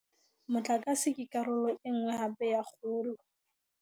Motlakase ke karolo e nngwe hape ya kgolo.